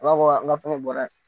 A b'a fɔ an ka fɛn bɔra yen